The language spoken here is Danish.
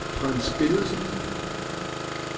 Frans Bennedsen